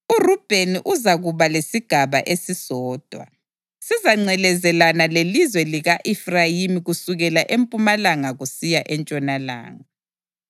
URubheni uzakuba lesigaba esisodwa; sizangcelezelana lelizwe lika-Efrayimi kusukela empumalanga kusiya entshonalanga.